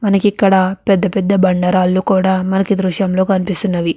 మనకిక్కడ పెద్ద పెద్ద బండరాళ్లు కూడా మనకి దృశ్యం లో కనిపిస్తున్నవి.